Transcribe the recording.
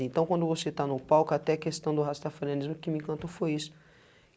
Então, quando você está no palco, até questão do rastafarenismo, que me encantou foi isso.